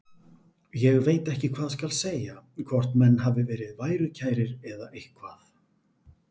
Ég veit ekki hvað skal segja, hvort menn hafi verið værukærir eða eitthvað.